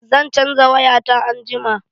Zan caja waya ta anjima.